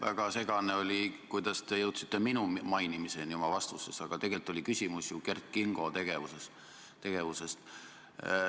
Väga segaseks jäi, kuidas te oma vastuses jõudsite minu mainimiseni, tegelikult oli küsimus ju Kert Kingo tegevuse kohta.